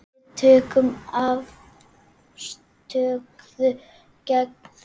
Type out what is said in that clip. Við tökum afstöðu gegn því.